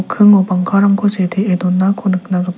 bangkarangko sitee donako nikna gita--